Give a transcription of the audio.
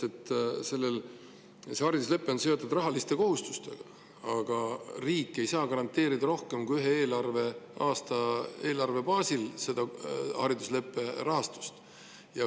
See hariduslepe on seotud rahaliste kohustustega, aga riik ei saa haridusleppe rahastust garanteerida rohkem kui ühe eelarveaasta baasil.